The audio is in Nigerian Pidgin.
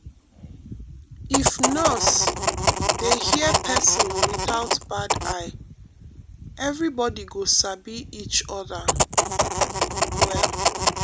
if nurse um dey hear person without bad eye everybody go sabi each other well.